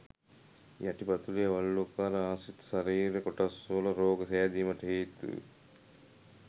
යටි පතුල් වළලූකර ආශ්‍රිත ශරීර කොටස්වල රෝග සෑදීමට හේතුයි.